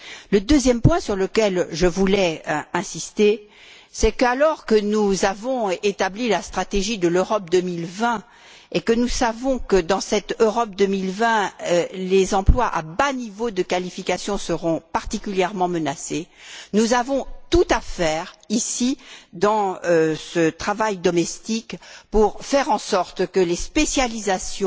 Le deuxième point sur lequel je voudrais insister, c'est qu'alors que nous avons établi la stratégie Europe 2020 et que nous savons que, dans cette Europe 2020, les emplois à bas niveau de qualification seront particulièrement menacés, nous avons tout à faire ici, dans ce travail domestique, pour faire en sorte que les spécialisations